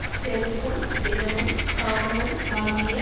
செருக்கும் சினமும் காமமும் ஆகிய